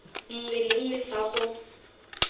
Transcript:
nngwe le nngwe fa go